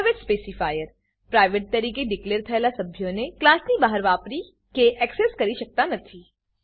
private specifier private તરીકે declare થયેલા સભ્યોને ક્લાસની બહાર વાપરી કે એક્સેસ કરી શકાતા નથી